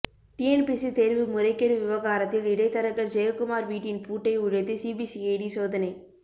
TNPSC தேர்வு முறைகேடு விவகாரத்தில் இடைத்தரகர் ஜெயக்குமார் வீட்டின் பூட்டை உடைத்து சிபிசிஐடி சோதனை